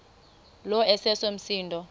lo iseso msindo